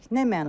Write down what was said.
Nə mənada?